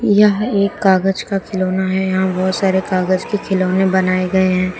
यह एक कागज का खिलौना है यहां बहोत सारे कागज के खिलौने बनाए गए है।